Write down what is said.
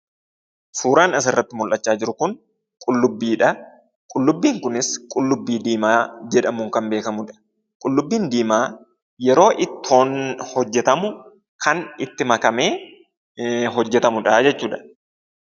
Suuraan asirratti mul'achaa jiru kun qullubbiidha. Qullubbiin kunis qullubbii diimaa jedhamuun kan beekamudha. Qullubbiin diimaan yeroo ittoon hojjetamu kan itti makamee kan hojjetamudha jechuudha.